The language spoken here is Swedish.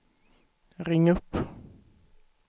ring upp